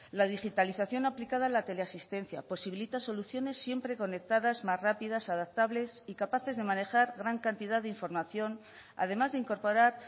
la digitalización aplicada a la teleasistencia posibilita soluciones siempre conectadas más rápidas adaptables y capaces de manejar gran cantidad de información además de incorporar